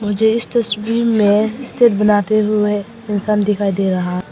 मुझे इस तस्वीर में स्टेज बनाते हुए इंसान दिखाई दे रहा--